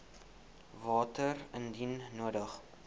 water indien nodig